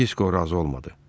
Disko razı olmadı.